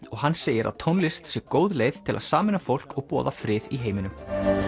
og hann segir að tónlist sé góð leið til að sameina fólk og boða frið í heiminum